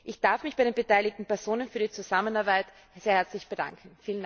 Ich darf mich bei den beteiligten Personen für die Zusammenarbeit sehr herzlich bedanken!